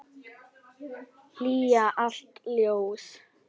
Hylja allt ljós.